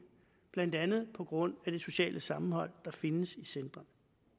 blandt andet på grund af det sociale sammenhold der findes i centrene